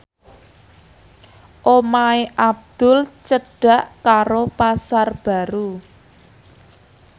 omahe Abdul cedhak karo Pasar Baru